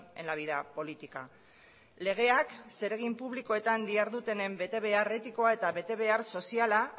en la vida política legeak zeregin publikoetan dihardutenen betebehar etikoa eta betebehar soziala